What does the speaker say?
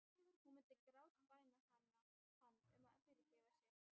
Hún myndi grátbæna hann um að fyrirgefa sér.